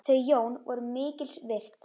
Þau Jón voru mikils virt.